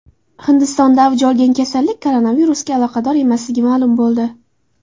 Hindistonda avj olgan kasallik koronavirusga aloqador emasligi ma’lum bo‘ldi.